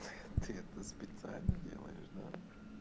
ты ты это специально делаешь да